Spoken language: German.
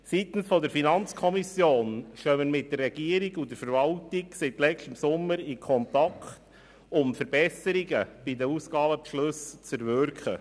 Seitens der FiKo stehen wir mit der Regierung und der Verwaltung seit letztem Sommer in Kontakt, um Verbesserungen bei den Ausgabenbeschlüssen zu erwirken.